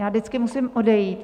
Já vždycky musím odejít.